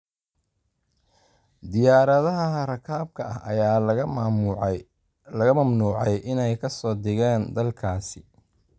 Diyaaradaha rakaabka ah ayaa laga mamnuucay inay ka soo degaan dalkaasi.